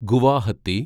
Guwahati